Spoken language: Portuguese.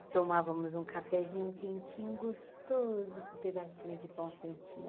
E tomávamos um cafezinho quentinho, gostoso, com pedacinho de pão quentinho.